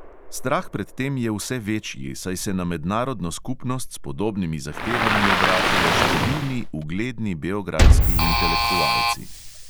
Strah pred tem je vse večji, saj se na mednarodno skupnost s podobnimi zahtevami obračajo številni ugledni beograjski intelektualci.